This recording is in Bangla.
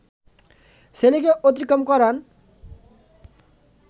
ছেলেকে অতিক্রম করান